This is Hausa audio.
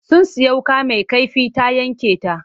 Sun sayi wuƙa mai kaifi ta yanke ta.